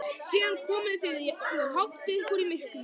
Síðan komið þið og háttið ykkur í myrkrinu.